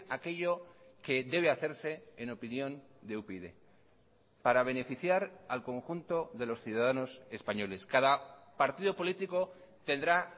aquello que debe hacerse en opinión de upyd para beneficiar al conjunto de los ciudadanos españoles cada partido político tendrá